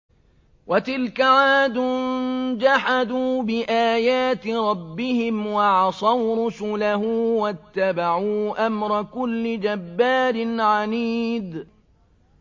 وَتِلْكَ عَادٌ ۖ جَحَدُوا بِآيَاتِ رَبِّهِمْ وَعَصَوْا رُسُلَهُ وَاتَّبَعُوا أَمْرَ كُلِّ جَبَّارٍ عَنِيدٍ